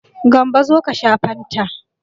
Gambo zo ka sha fanta.